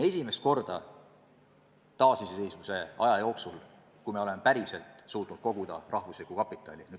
Esimest korda taasiseseisvuse aja jooksul me oleme päriselt suutnud koguda üldrahvalikku kapitali.